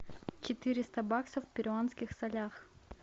четыреста баксов в перуанских солях